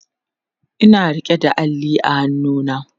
Ina rike da Alli a hannuna